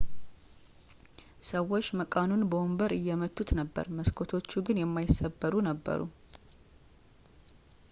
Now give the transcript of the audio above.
ሰዎች መቃኑን በወንበር እየመቱት ነበር መስኮቶቹ ግን የማይሰበሩ ነበሩ